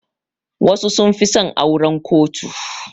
Wasu sun fi son auran kotu.